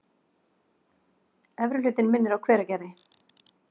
Efri hlutinn minnir á Hveragerði.